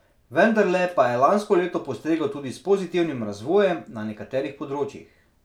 Vendarle pa je lansko leto postreglo tudi s pozitivnim razvojem na nekaterih področjih.